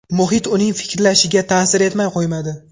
Muhit uning fikrlashiga ta’sir etmay qo‘ymadi.